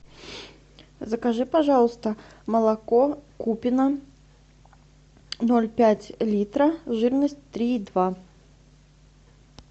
закажи пожалуйста молоко купино ноль пять литра жирность три и два